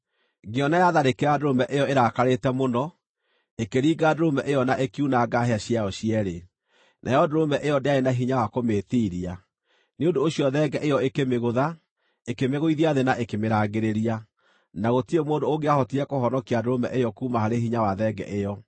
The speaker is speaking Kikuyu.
Ngĩona yatharĩkĩra ndũrũme ĩyo ĩrakarĩte mũno, ĩkĩringa ndũrũme ĩyo na ĩkiunanga hĩa ciayo cierĩ. Nayo ndũrũme ĩyo ndĩarĩ na hinya wa kũmĩĩtiiria, nĩ ũndũ ũcio thenge ĩyo ĩkĩmĩgũtha, ĩkĩmĩgũithia thĩ na ĩkĩmĩrangĩrĩria, na gũtirĩ mũndũ ũngĩahotire kũhonokia ndũrũme ĩyo kuuma harĩ hinya wa thenge ĩyo.